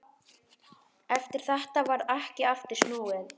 Eftir þetta varð ekki aftur snúið.